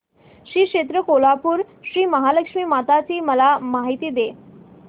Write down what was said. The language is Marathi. श्री क्षेत्र कोल्हापूर श्रीमहालक्ष्मी माता ची मला माहिती दे